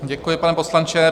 Děkuji, pane poslanče.